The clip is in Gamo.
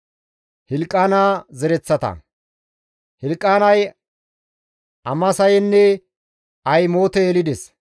Hilqaana zereththata; Hilqaanay Amasayenne Ahimoote yelides;